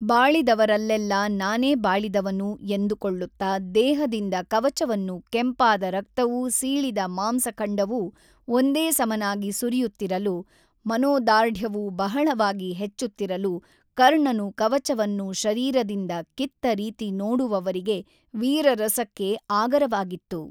ಬಾಳಿದವರಲ್ಲೆಲ್ಲ ನಾನೆ ಬಾಳಿದವನು ಎಂದುಕೊಳ್ಳುತ್ತ ದೇಹದಿಂದ ಕವಚವನ್ನು ಕೆಂಪಾದ ರಕ್ತವೂ ಸೀಳಿದ ಮಾಂಸಖಂಡವೂ ಒಂದೇ ಸಮನಾಗಿ ಸುರಿಯುತ್ತಿರಲು ಮನೋದಾರ್ಢ್ಯವೂ ಬಹಳಯವಾಗಿ ಹೆಚ್ಚುತ್ತಿರಲು ಕರ್ಣನು ಕವಚವನ್ನು ಶರೀರದಿಂದ ಕಿತ್ತ ರೀತಿ ನೋಡುವವರಿಗೆ ವೀರರಸಕ್ಕೆ ಆಗರವಾಗಿತ್ತು.